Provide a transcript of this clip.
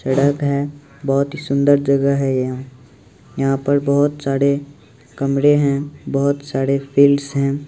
सड़क है बहुत ही सुन्दर जगह है यहाँ यहाँ पर बहोत सारे कमरे बहोत सारे फील्ड्स है।